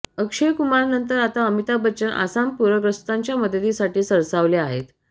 अक्षय कुमारनंतर आता अमिताभ बच्चन आसाम पूरग्रस्तांच्या मदतीसाठी सरसावले आहेत